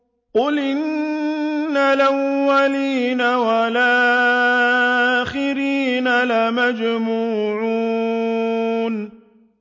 قُلْ إِنَّ الْأَوَّلِينَ وَالْآخِرِينَ